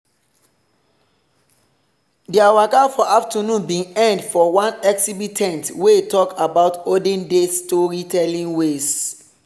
their waka for afternoon bin end for one exhibit ten t wey talk about olden days storytelling ways.